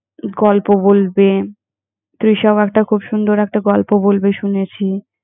গল্প বলবে। তৃষাও একটা খুব সুন্দর একটা গল্প বলবে, শুনেছি।